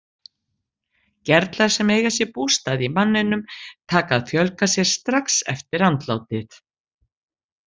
Gerlar sem eiga sér bústað í manninum taka að fjölga sér strax eftir andlátið.